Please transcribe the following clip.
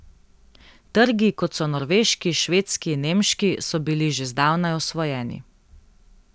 Trgi, kot so norveški, švedski in nemški, so bili že zdavnaj osvojeni.